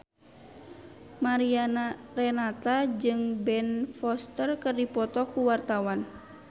Mariana Renata jeung Ben Foster keur dipoto ku wartawan